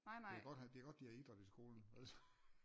Det er godt han det er godt de har idræt i skolen ellers så